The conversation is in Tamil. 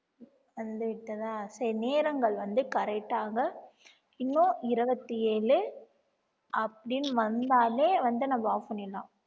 வந்து விட்டதா சரி நேரங்கள் வந்து correct ஆக இன்னும் இருபத்தி ஏழு அப்படின்னு வந்தாலே வந்து நம்ம off பண்ணிடலாம்